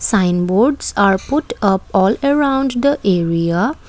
sign boards are put up all around the area.